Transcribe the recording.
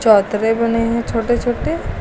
पात्रे बने है छोटे छोटे।